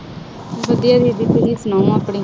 ਵਧੀਆ ਆਪਣੀ।